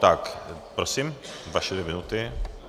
Tak prosím, vaše dvě minuty.